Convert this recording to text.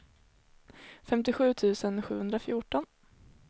femtiosju tusen sjuhundrafjorton